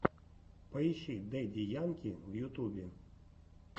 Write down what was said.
поищи дэдди янки в ютубе